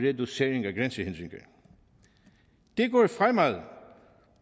reducering af grænsehindringer det går fremad